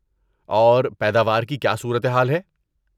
اور پیداوار کی کیا صورت حال ہے؟